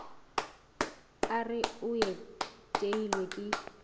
a re o iteilwe ke